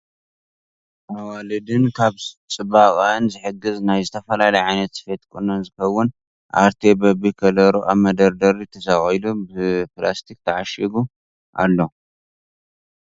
ኣዋልድ ን ካብ ፅባቅአን ዝሕግዝ ናይ ዝተፈላለዩ ዓይነት ስፌትን ቁኖን ዝከውን ኣርቴ በቢ ከለሩ ኣብ መደርደሪ ተሰቂሉ ብላስቲክ ተዓሺጉ ኣሎ ።